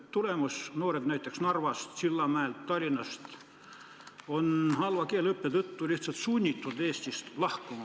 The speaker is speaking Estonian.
Tagajärg on see, et noored on – näiteks Narvast, Sillamäelt ja Tallinnast – halva keeleõppe tõttu lihtsalt sunnitud Eestist lahkuma.